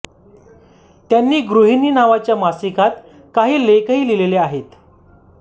त्यांनी गृहिणी नावाच्या मासिकात काही लेखही लिहिले आहेत